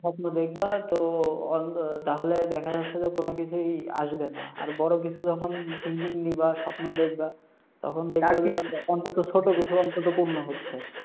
স্বপ্ন দেখবা তো তাহলে দেখা যাচ্ছে যে কোন কিছুই ই আসবে না। আর বড় কিছু যখন thinking নিবা, স্বপ্ন দেখবা তখন দেখবা অন্তত ছোট কিসু অন্তত পূর্ণ হচ্ছে।